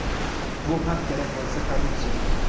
Bu ham kerak bo‘lsa korrupsiya.